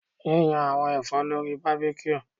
Yiyan awọn ẹfọ lori barbecue